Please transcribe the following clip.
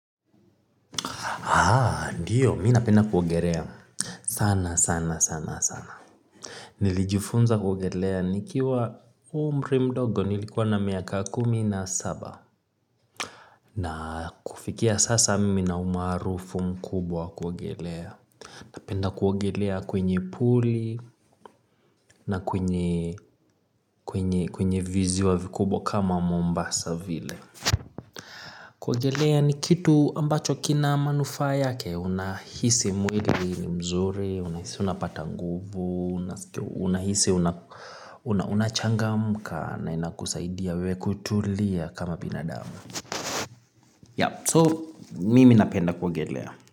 Ndiyo, mina penda kuogelea. Sana, sana, sana, sana. Nilijifunza kuogelea nikiwa umri mdogo nilikuwa na miaka kumi na saba. Na kufikia sasa mimi nina umaarufu mkubwa wa kuogelea. Napenda kuogelea kwenye puli na kwenye viziwa vikubwa kama Mombasa vile. Kuogelea ni kitu ambacho kina manufaa yake unahisi mwili ni mzuri, unahisi unapata nguvu, unahisi unachangamka na inakusaidia wewe kutulia kama binadamu. So mimi napenda kuogelea.